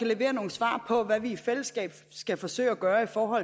levere nogle svar på hvad vi i fællesskab skal forsøge at gøre for